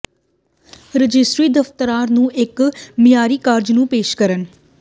registry ਦਫ਼ਤਰ ਨੂੰ ਇੱਕ ਮਿਆਰੀ ਕਾਰਜ ਨੂੰ ਪੇਸ਼ ਕਰਨ